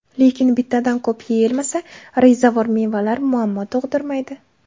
Lekin bittadan ko‘p yeyilmasa, rezavor mevalar muammo tug‘dirmaydi.